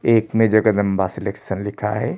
एक में जगदंबा सिलेक्शन लिखा है।